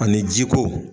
Ani jiko